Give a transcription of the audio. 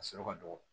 A sɔrɔ ka dɔgɔ